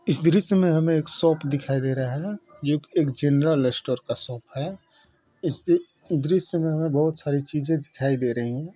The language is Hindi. इस दृश्य में हमे एक शॉप दिखाई दे रहा है जो कि एक जनरल स्टोर का शॉप है इसकी दृश्य में हमें बहुत सारी चीजे दिखाई दे रही हैं।